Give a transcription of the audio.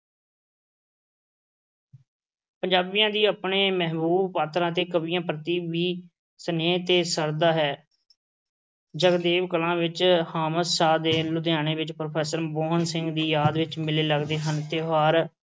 ਪੰਜਾਬੀਆਂ ਦਾ ਆਪਣੇ ਮਹਿਬੂਬ ਪਾਤਰਾਂ ਅਤੇ ਕਵੀਆਂ ਪ੍ਰਤੀ ਵੀ ਸਨੇਹ ਤੇ ਸ਼ਰਧਾ ਹੈ। ਜਗਦੇਵ ਕਲਾਂ ਵਿੱਚ ਦੇ ਲੁਧਿਆਣੇ ਵਿੱਚ ਪ੍ਰੋਫੈਸਰ ਸਿੰਘ ਦੀ ਯਾਦ ਵਿੱਚ ਮੇਲੇ ਲੱਗਦੇ ਹਨ। ਤਿਉਹਾਰ